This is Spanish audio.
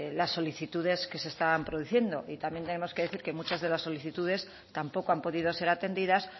las solicitudes que se estaban produciendo y también tenemos que decir que muchas de las solicitudes tampoco han podido ser atendidas